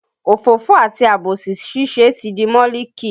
Òfófó àti àbòsí ṣíṣe ti di mọ́líkì